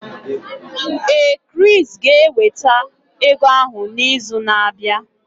Ee, Chris ga-eweta ego ahụ n'izu na-abịa.